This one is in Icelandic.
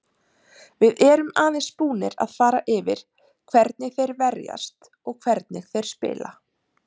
Við erum aðeins búnir að fara yfir hvernig þeir verjast og hvernig þeir spila.